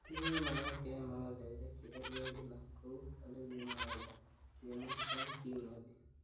Kimakomagat keyai makoseshek chekerkei kila kou olekikimwaita, kimwa eng kimnotet